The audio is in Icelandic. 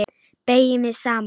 Beygi mig saman.